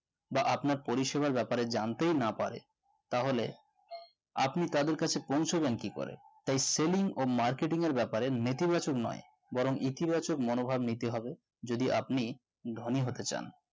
বা আপনার positional ব্যাপারে জানতে না পারে তাহলে আপনি তাদের কাছে পৌঁছাবেন কি করে? তাই selling ও marketing এর ব্যাপারে নেতিবাচক নয় বরং ইতিবাচক মনোভাব নিতে হবে যদি আপনি ধনী হতে চান